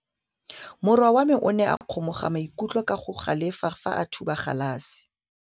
Morwa wa me o ne a kgomoga maikutlo ka go galefa fa a thuba galase.